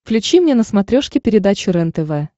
включи мне на смотрешке передачу рентв